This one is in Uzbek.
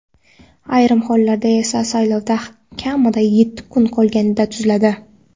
ayrim hollarda esa saylovga kamida yetti kun qolganida tuziladi.